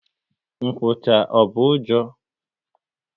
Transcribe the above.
Nkwụcha, ọ bụ ụjọ?